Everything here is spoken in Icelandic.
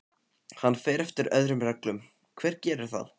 Hann fer eftir öðrum reglum, hver gerir það?